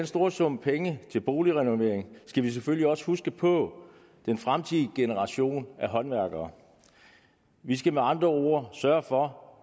store sum penge til boligrenovering skal vi selvfølgelig også huske på den fremtidige generation af håndværkere vi skal med andre ord sørge for